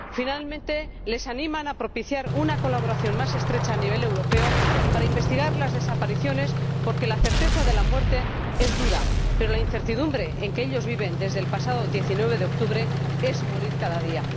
Finalmente, les animan a propiciar una colaboración más estrecha a nivel europeo para investigar las desapariciones, porque la certeza de la muerte es dura, pero la incertidumbre en que ellos viven desde el pasado 19 de octubre es morir cada día.